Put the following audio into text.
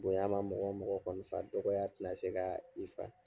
Bonya ma mɔgɔ mɔgɔ kɔni fa, dɔgɔ tena se kaa i fa.